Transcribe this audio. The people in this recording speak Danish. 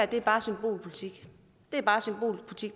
det er bare symbolpolitik